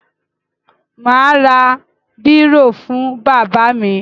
Mà á ra bírò fún bàbá mi.